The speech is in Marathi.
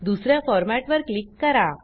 दुस या फॉरमॅटवर क्लिक करा